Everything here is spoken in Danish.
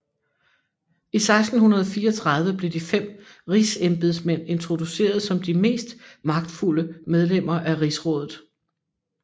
I 1634 blev de fem Rigsembedsmænd introduceret som de mest magtfulde medlemmer af Rigsrådet